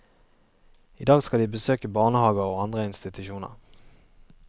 I dag skal de besøke barnehager og andre institusjoner.